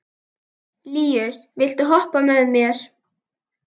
Líus, viltu hoppa með mér?